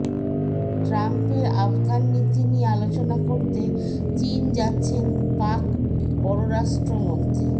ট্রাম্পের আফগান নীতি নিয়ে আলোচনা করতে চীন যাচ্ছেন পাক পররাষ্ট্রমন্ত্রী